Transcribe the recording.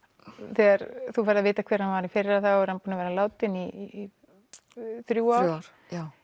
þegar þú færð að vita hver hann var í fyrra þá er hann búinn að vera látinn í þrjú ár